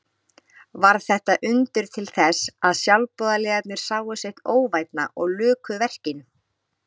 Varð þetta undur til þess að sjálfboðaliðarnir sáu sitt óvænna og luku verkinu.